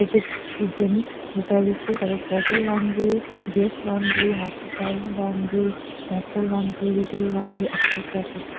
it is written the services that is hotel laundry guest laundry hospital laundry hostel laundry retail laundry etcetera etcetera.